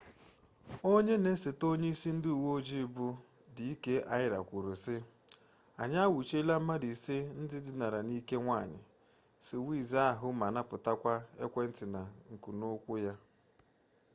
onye na-esote onye isi ndị uweojii bụ d k arya kwuru sị anyị anwụchiela mmadụ ise ndị dinara n'ike nwanyị swiss ahụ ma napụtakwa ekwentị na nkunụkwụ ya